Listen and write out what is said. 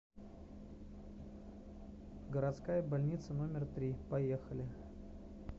городская больница номер три поехали